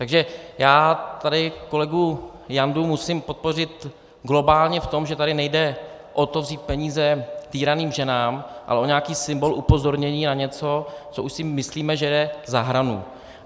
Takže já tady kolegu Jandu musím podpořit globálně v tom, že tady nejde o to vzít peníze týraným ženám, ale o nějaký symbol upozornění na něco, co už si myslíme, že je za hranou.